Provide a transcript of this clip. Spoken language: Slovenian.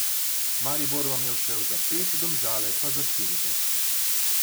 Maribor vam je ušel za pet, Domžale pa za štiri točke.